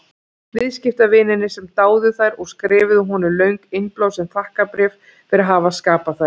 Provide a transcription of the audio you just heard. Viðskiptavinirnir sem dáðu þær og skrifuðu honum löng, innblásin þakkarbréf fyrir að hafa skapað þær.